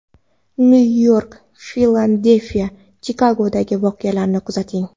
Nyu-York, Filadelfiya, Chikagodagi voqealarni kuzating.